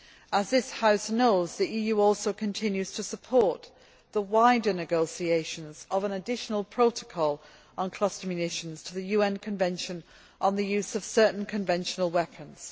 As this House knows, the EU also continues to support the wider negotiation of an additional protocol on cluster munitions to the UN Convention on the Use of Certain Conventional Weapons.